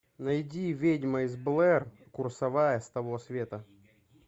найди ведьма из блэр курсовая с того света